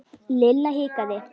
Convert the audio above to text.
Lilla hikaði.